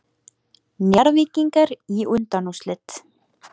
Njarðvíkingar í undanúrslit